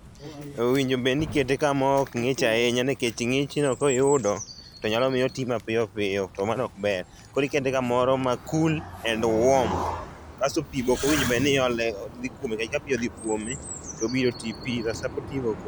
Owinjo obedni ikete kama ok ngich ahinya nikech ng'ich no koyudo to nyalo miyo otii mapiyo to mano ok ber. Koro ikete kamoro ma cool and warm. Asto pii be ok owinjo bedni iole, dhi kuome, ka pii odhi kuome to obiro tii piyo